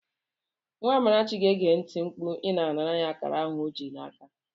Nwa Amarachi ga-eti mkpu ma ị nara ya akara ahụ ọ ji n'aka.